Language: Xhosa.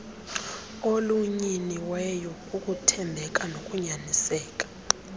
olunyiniweyo kukuthembeka nokunyaniseka